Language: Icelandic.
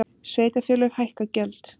Sveitarfélög hækka gjöld